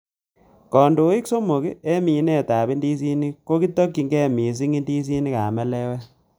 Kondoik somok en minetab indisinik ko kitokyige missing indisinik ab melewet.